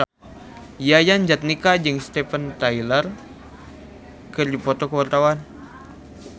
Yayan Jatnika jeung Steven Tyler keur dipoto ku wartawan